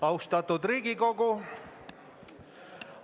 Austatud Riigikogu!